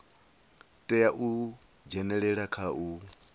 tea u dzhenelela kha u